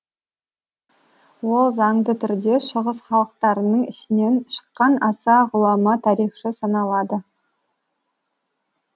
ол заңды түрде шығыс халықтарының ішінен шыққан аса ғұлама тарихшы саналады